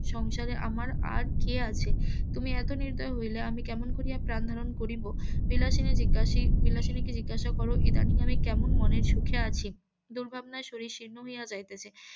সংসারে আমার আর কে আছে তুমি এত নির্দয় হইলে আমি কেমন করিয়া প্রাণ ধারণ করিব বিলাসিনী জিজ্ঞাসি বিলাসিনী কে জিজ্ঞাসা করো ইদানিং আমি কেমন মনের সুখে আছি দুর্ভাবনায় শরীর শীর্ণ হইয়া যাইতেছে